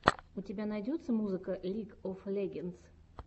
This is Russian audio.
у тебя найдется музыка лиг оф легендс